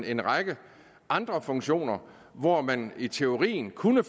en række andre funktioner hvor man i teorien kunne